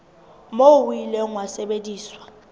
moo o ile wa sebediswa